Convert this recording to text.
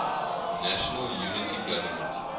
national unity government